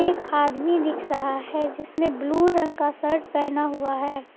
एक आदमी दिख रहा है जिसने ब्लू रंग का शर्ट पहना हुआ है।